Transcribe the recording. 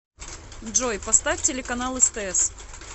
джой поставь телеканал стс